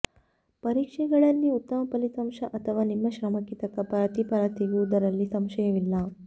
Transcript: ಪರೀಕ್ಷೆಗಳಲ್ಲಿ ಉತ್ತಮ ಫಲಿತಾಂಶ ಅಥವಾ ನಿಮ್ಮ ಶ್ರಮಕ್ಕೆ ತಕ್ಕ ಪ್ರತಿಫಲ ಸಿಗುವುದರಲ್ಲಿ ಸಂಶಯವಿಲ್ಲ